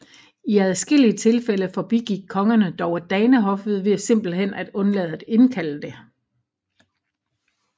I adskillige tilfælde forbigik kongerne dog danehoffet ved simpelthen at undlade at indkalde det